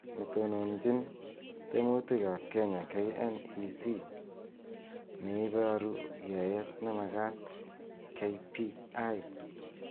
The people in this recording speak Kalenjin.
Netononjin temutik ab Kenya KNEC, neibaru yaet nemakat KPI